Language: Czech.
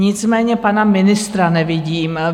Nicméně pana ministra nevidím.